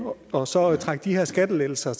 og så trække de her skattelettelser